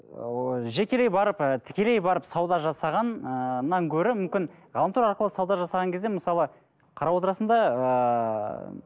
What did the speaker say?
ыыы жекелей барып ы тікелей барып сауда жасаған ыыы гөрі мүмкін ғаламтор арқылы сауда жасаған кезде мысалы қарап отырасың да ыыы